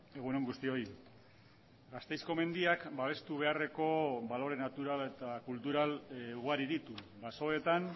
egun on guztioi gasteizko mendiak babestu beharreko balore natural eta kultural ugari ditu basoetan